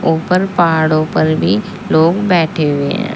ऊपर पहाड़ों पर भी लोग बैठे हुए हैं।